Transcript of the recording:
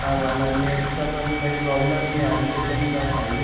आता आम्हाला नेट चा पण काय प्रॉब्लेम नाई आमच्या इथ नाई का फाइव जी --